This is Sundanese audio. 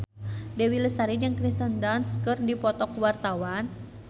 Dewi Lestari jeung Kirsten Dunst keur dipoto ku wartawan